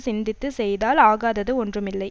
சிந்தித்து செய்தால் ஆகாதது ஒன்றுமில்லை